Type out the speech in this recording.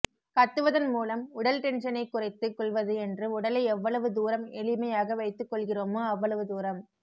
கத்துவதன் மூலம் உடல் டென்ஷனைக் குறைத்துக் கொள்வது என்று உடலை எவ்வளவு தூரம் எளிமையாக வைத்துக் கொள்கிறமோ அவ்வளவு தூரம்